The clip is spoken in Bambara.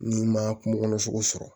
N'i ma kungokɔnɔ sogo sɔrɔ